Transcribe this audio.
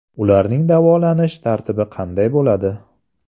Ularning davolanish tartibi qanday bo‘ladi?